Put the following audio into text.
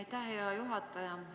Aitäh, hea juhataja!